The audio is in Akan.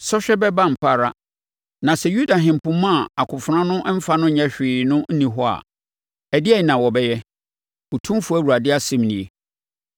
“ ‘Sɔhwɛ bɛba ampa ara. Na sɛ Yuda ahempoma a akofena no mfa no nyɛ hwee no nni hɔ a, ɛdeɛn na wɔbɛyɛ? Otumfoɔ Awurade asɛm nie.’